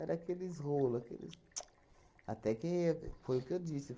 Era aqueles rolo, aqueles ts... Até que foi o que eu disse.